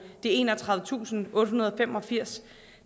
enogtredivetusinde og ottehundrede og femogfirs